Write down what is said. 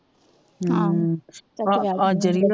ਅੱਜ ਅੜੀਏ